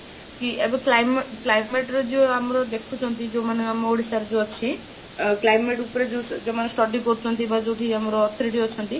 କି ଏବେ climate climate ରେ ଯୋଉ ଆମର ଦେଖୁଛନ୍ତି ଯୋଉମାନେ ଆମ ଓଡ଼ିଶାର ଅଛି ଅ climate ଉପରେ ଯୋଉ ଯୋଉମାନେ study କରୁଛନ୍ତି ବା ଯୋଉଠି ଆମର authority ଅଛନ୍ତି